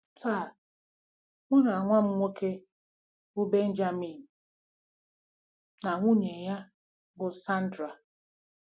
Taa, mụ na nwa m nwoke, bụ́ Benjamin, na nwunye ya, bụ́ Sandra